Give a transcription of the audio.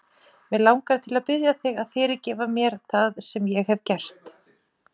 Mig langar til að biðja þig að fyrirgefa mér það sem ég hef gert.